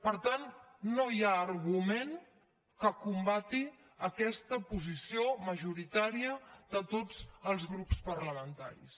per tant no hi ha argument que combati aquesta posi·ció majoritària de tots els grups parlamentaris